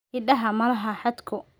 Idaha ma laha xadhko.